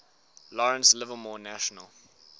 lawrence livermore national